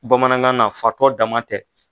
Bamanangan na fatɔ dama tɛ.